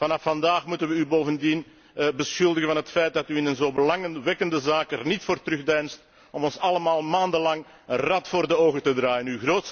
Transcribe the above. Vanaf vandaag moeten wij u bovendien beschuldigen van het feit dat u in een zo belangwekkende zaak er niet voor terugdeinst om ons allemaal maandenlang een rad voor ogen te draaien.